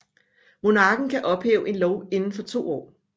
Monarken kan ophæve en lov inden for to år